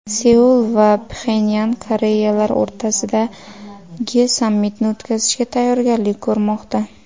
Seul va Pxenyan Koreyalar o‘rtasidagi sammitni o‘tkazishga tayyorgarlik ko‘rmoqda.